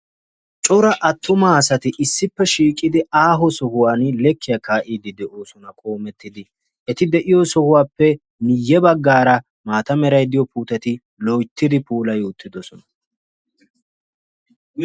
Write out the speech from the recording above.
Cora attuma asati issippe shiiqidi aaho sohuwan lekkiya kaa'ide de'oosona qoommettidi. Eti de'iyo sohuwappe miyye baggaara maata meray diyoo puuteti loyttidi puulayi uttidoosona.